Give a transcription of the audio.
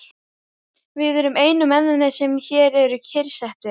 Við erum einu mennirnir, sem hér eru kyrrsettir.